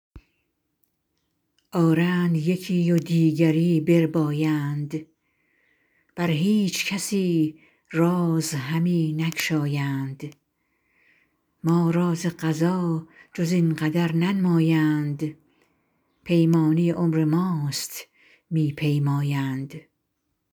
آرند یکی و دیگری بربایند بر هیچ کسی راز همی نگشایند ما را ز قضا جز این قدر ننمایند پیمانه عمر ماست می پیمایند